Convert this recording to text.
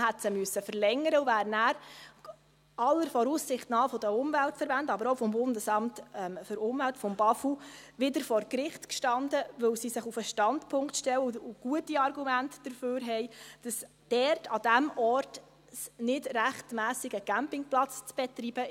Man hätte sie verlängern müssen und wäre dann aller Voraussicht nach mit den Umweltverbänden, aber auch mit dem Bundesamt für Umwelt (BAFU) wieder vor Gericht gestanden, weil sie sich auf den Standpunkt stellen – und gute Argumente dafür haben –, dass es an diesem Ort nicht rechtmässig sei, einen Campingplatz zu betreiben.